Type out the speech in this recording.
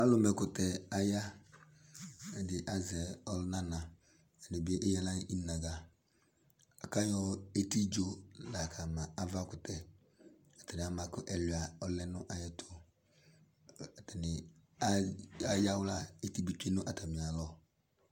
Alʋma ɛkʋtɛ aya Ɛdini azɛ ɔlʋnana, ɛdi bi eya aɣla nʋ inaga, la kʋ ayɔ etidzo la kama avakʋtɛ Atani ama kʋ ɛlʋa ɔlɛ nʋ ayɛtʋ Atani ayawla Eti bi tsue nʋ atami alɔ